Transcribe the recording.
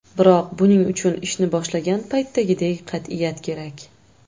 Biroq buning uchun ishni boshlagan paytdagidek qat’iyat kerak.